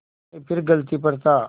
मैं फिर गलती पर था